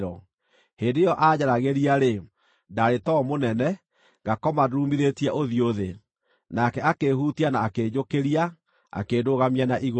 Hĩndĩ ĩyo aanjaragĩria-rĩ, ndaarĩ toro mũnene, ngakoma ndurumithĩtie ũthiũ thĩ. Nake akĩĩhutia na akĩnjũkĩria, akĩndũgamia na igũrũ.